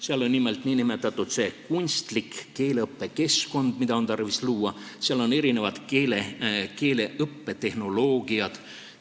Seal on nimelt see nn kunstlik keeleõppekeskkond, mida on tarvis luua, seal on erinevad keeleõppetehnoloogiad.